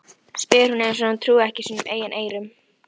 spyr hún eins og hún trúi ekki sínum eigin eyrum.